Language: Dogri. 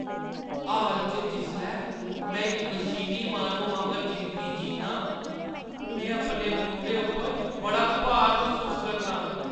हाल च जिसलै में इक मशीनी माह्‌नू आंह्गर जिंदगी जीन्नाा आं, में अपने मूंढे उप्पर बड़ा भार मसूस करनां ।